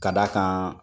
Ka d'a kan